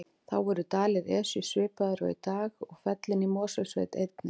Þá voru dalir Esju svipaðir og í dag og fellin í Mosfellssveit einnig.